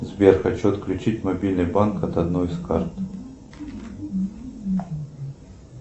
сбер хочу отключить мобильный банк от одной из карт